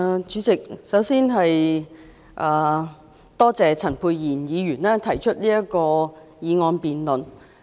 主席，我首先多謝陳沛然議員提出這項議案。